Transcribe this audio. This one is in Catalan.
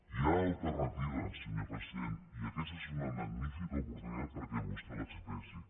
hi ha alternativa senyor president i aquesta és una magnífica oportunitat perquè vostè l’expressi